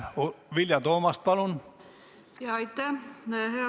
Vilja Toomast, palun!